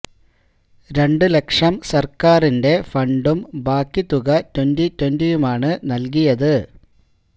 രണ്ട് ലക്ഷം സർക്കാരിന്റെ ഫണ്ടും ബാക്കി തുക ട്വന്റി ട്വന്റിയുമാണ് നൽകിയത്